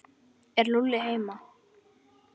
Er Lúlli heima?